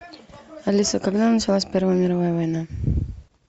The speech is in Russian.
алиса когда началась первая мировая война